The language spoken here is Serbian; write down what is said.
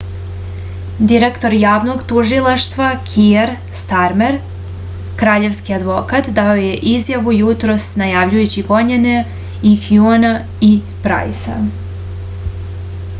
direktor javnog tužilaštva kier starmer kraljevski advokat dao je izjavu jutros najavljujući gonjenje i hjuna i prajsa